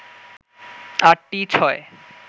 আটটি ছয়